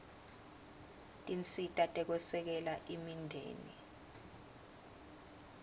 tinsita tekwesekela imindeni